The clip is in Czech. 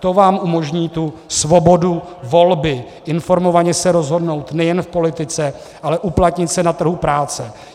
To vám umožní tu svobodu volby informovaně se rozhodnout nejen v politice, ale uplatnit se na trhu práce.